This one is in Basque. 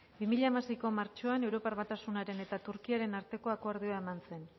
bi mila hamaseiko martxoan europar batasunaren eta turkiaren arteko akordioa eman zen